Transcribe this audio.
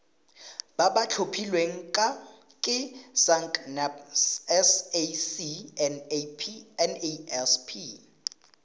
ba ba tlhophilweng ke sacnasp